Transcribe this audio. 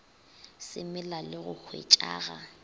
se mela le go hwetšaga